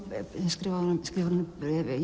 sem skrifaði honum skrifaði honum